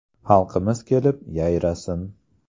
Xalqimiz kelib, yayrasin!